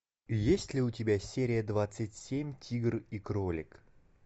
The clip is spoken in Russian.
есть ли у тебя серия двадцать семь тигр и кролик